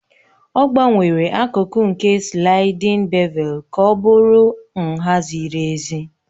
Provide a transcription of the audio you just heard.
Ọ gbanwere akụkụ nke slaịdin bevelu ka ọ bụrụ nha ziri ezi.